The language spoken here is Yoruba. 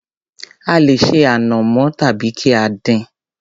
A lè ṣe ànàmọ́ tàbí kí á dín-in.